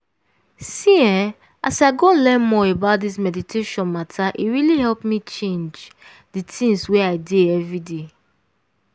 see eeh as i go learn more about this meditation matter e really help me change di tins wey i dey everday.